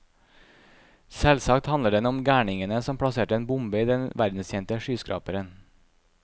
Selvsagt handler den om gærningene som plasserte en bombe i den verdenskjente skyskraperen.